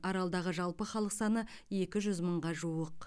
аралдағы жалпы халық саны екі жүз мыңға жуық